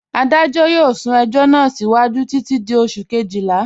Adajọ yọọ sún ẹjọ̀ náà síwájú títi di Oṣù̀ kẹ́jìlá.